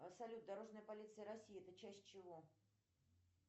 салют дорожная полиция россии это часть чего